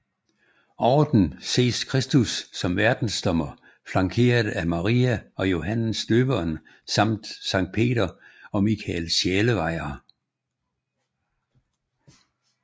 Over dem ses Kristus som Verdensdommer flankeret af Maria og Johannes Døberen samt Sankt Peter og Mikael Sjælevejer